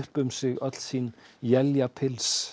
um sig öll sín